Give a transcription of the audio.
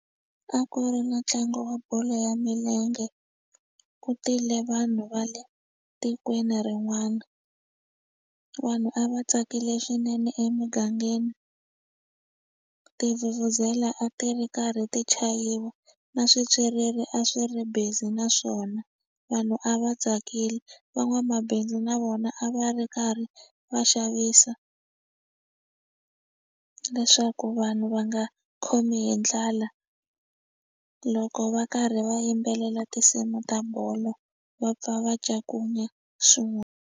A ku ri na ntlangu wa bolo ya milenge ku tile vanhu va le tikweni rin'wana vanhu a va tsakile swinene emugangeni tivhuvhuzela a ti ri karhi ti chayiwa na swipyiriri a swi ri busy naswona vanhu a va tsakile van'wamabindzu na vona a va ri karhi va xavisa leswaku vanhu va nga khomi hi ndlala loko va karhi va yimbelela tinsimu ta bolo va pfa va ncakunya .